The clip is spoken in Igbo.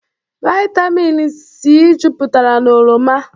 Vaịtamịn sii juputara n'oroma.